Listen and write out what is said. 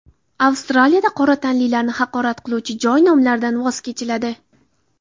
Avstraliyada qora tanlilarni haqorat qiluvchi joy nomlaridan voz kechiladi.